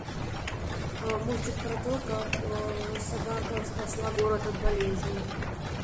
мультик про то как собака спасла город от болезни